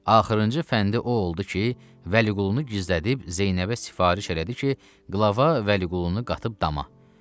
Axırıncı fəndi o oldu ki, Vəliqulunu gizlədib Zeynəbə sifariş elədi ki, qlava Vəliqulunu qatıb dama.